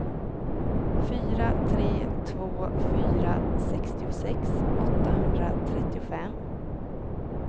fyra tre två fyra sextiosex åttahundratrettiofem